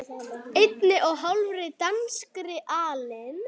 einni og hálfri danskri alin